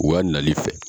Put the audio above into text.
U ka nali fɛ